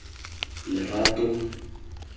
lerato